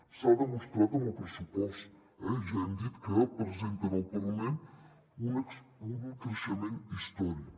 s’ha demostrat amb el pressupost eh ja hem dit que presenten al parlament un creixement històric